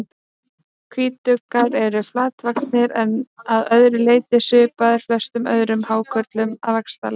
Hvítuggar eru flatvaxnir en að öðru leyti svipaðir flestum öðrum hákörlum að vaxtarlagi.